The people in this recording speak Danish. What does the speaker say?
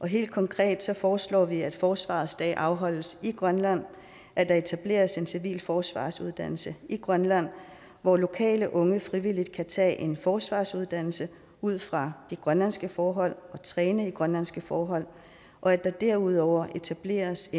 helt konkret foreslår vi at forsvarets dag afholdes i grønland at der etableres en civil forsvarsuddannelse i grønland hvor lokale unge frivilligt kan tage en forsvarsuddannelse ud fra de grønlandske forhold og træne i grønlandske forhold og at der derudover etableres